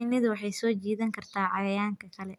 Shinnidu waxay soo jiidan kartaa cayayaanka kale.